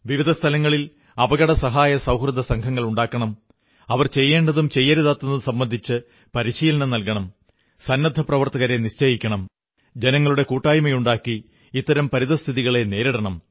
വിവിധ സ്ഥലങ്ങളിൽ അപകടസഹായ സൌഹൃദസംഘങ്ങളുണ്ടാക്കണം അവർ ചെയ്യേണ്ടതും ചെയ്യരുതാത്തതും സംബന്ധിച്ച് പരിശീലനം നല്കണം സന്നദ്ധപ്രവർത്തകരെ നിശ്ചയിക്കണം ജനങ്ങളുടെ കൂട്ടായ്മയുണ്ടാക്കി ഇത്തരം പരിതസ്ഥിതികളെ നേരിടണം